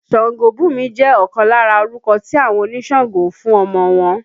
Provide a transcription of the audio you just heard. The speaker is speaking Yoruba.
Sangobunmi jẹ ọkan lára orúkọ tí àwọn onísàǹgó ń fún ọmọ wọn